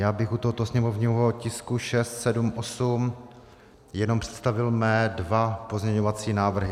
Já bych u tohoto sněmovního tisku 678 jenom představil své dva pozměňovací návrhy.